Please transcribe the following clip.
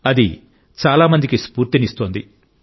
అది చాలా మందికి స్ఫూర్తినిస్తోంది